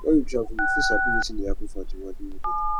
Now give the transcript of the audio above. when we travel we fit sabi wetin dey happen for di world wey we dey live